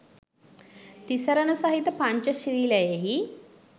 තිසරණ සහිත පංචශීලයෙහි